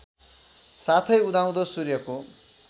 साथै उदाउँदो सूर्यको